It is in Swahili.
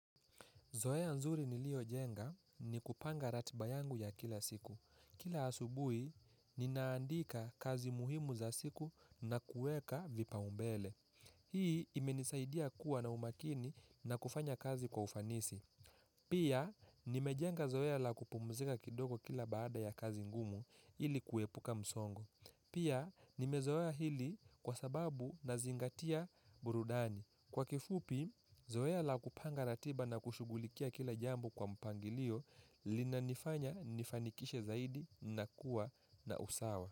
Zoea nzuri nilio jenga ni kupanga ratiba yangu ya kila siku. Kila asubui, ninaandika kazi muhimu za siku na kueka vipa umbele. Hii imenisaidia kuwa na umakini na kufanya kazi kwa ufanisi. Pia, nimejenga zoeya la kupumzika kidogo kila baada ya kazi ngumu ili kuepuka msongo Pia, nimezoea hili kwa sababu nazingatia burudani. Kwa kifupi, zoe la kupanga ratiba na kushugulikia kila jambo kwa mpangilio lina nifanya nifanikishe zaidi na kuwa na usawa.